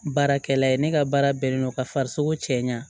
Baarakɛla ye ne ka baara bɛnnen don ka farisogo cɛɲa